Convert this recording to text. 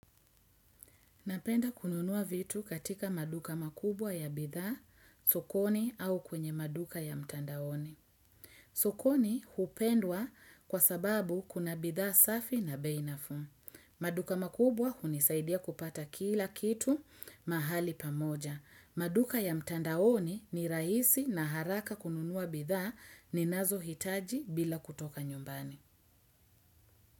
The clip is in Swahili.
Napenda kununua vitu katika maduka makubwa ya bithaa, sokoni au kwenye maduka ya mtandaoni. Sokoni hupendwa kwa sababu kuna bithaa safi na bei nafuu. Maduka makubwa hunisaidia kupata kila kitu mahali pamoja. Maduka ya mtandaoni ni raisi na haraka kununua bithaa ninazo hitaji bila kutoka nyumbani.